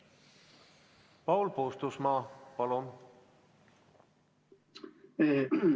Paul Puustusmaa, palun!